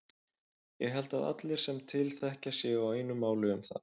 Ég held að allir sem til þekkja séu á einu máli um það.